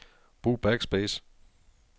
Brug backspace.